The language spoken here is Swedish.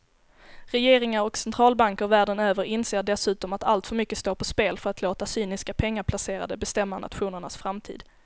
Regeringar och centralbanker världen över inser dessutom att alltför mycket står på spel för att låta cyniska pengaplacerare bestämma nationernas framtid.